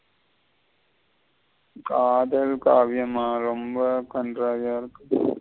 காதல் காவியமா ரெம்ப கன்றாவிய இருக்கு.